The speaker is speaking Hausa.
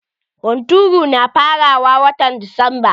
Hunturu na farawa watan desamba.